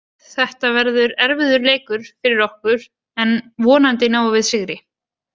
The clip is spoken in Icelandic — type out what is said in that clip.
Þetta verður erfiður leikur fyrir okkur en vonandi náum við sigri.